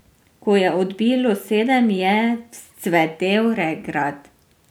Ko je odbilo sedem, je vzcvetel regrat.